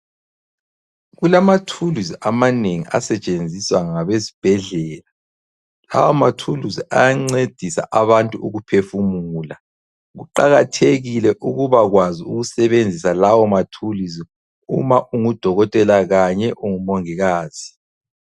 Kulamathuluzi amanengi asetshenziswa ngabesibhedlela. Lawa mathuluzi ayancedisa abantu ukuphefumula. Kuqakathekile ukubakwazi ukusebenzisa lawo mathuluzi uma ungudokotela kanye ungumongikazi.